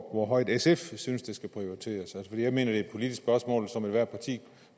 hvor højt sf synes det skal prioriteres fordi jeg mener det er et politisk spørgsmål som ethvert parti